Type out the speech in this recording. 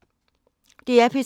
DR P3